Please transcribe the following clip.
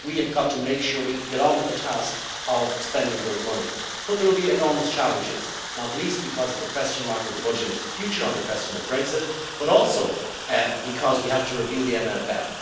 We have got to make sure we can get on with the task of spending those monies. But there will be enormous challenges, not least because of the question mark of the budget into the future on the question of Brexit, but also because we have to review the MFF.